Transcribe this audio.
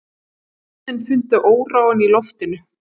Börnin fundu óróann í loftinu.